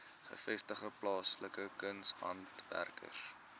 gevestigde plaaslike kunshandwerkers